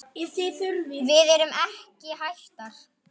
Við erum ekki hættar.